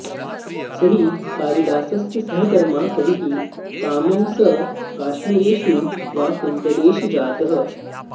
स हि कालिदासस्य सहकर्मा कविः कामं स काश्मीरेषु वा कुन्तलेषु जातः